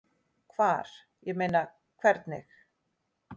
Hvar, ég meina. hvernig?